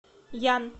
ян